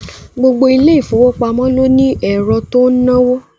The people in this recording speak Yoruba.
Gbogbo ilé ìfowópamọ́ ló ní ẹ̀rọ tó ń náwó